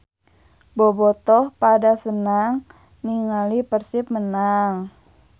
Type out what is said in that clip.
Bobotoh pada senang ninggali Persib menang